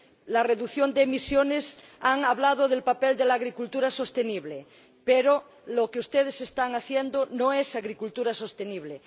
La reducción de emisiones han hablado del papel de la agricultura sostenible, pero lo que ustedes están haciendo no es agricultura sostenible.